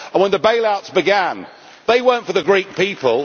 And when the bailouts began, they were not for the Greek people.